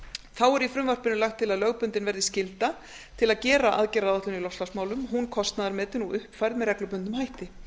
þá er í frumvarpinu lagt til að lögbundin verði skylda til að gera aðgerðaáætlun í loftslagsmálum hún kostnaðarmetin og uppfærð með reglubundnum hætti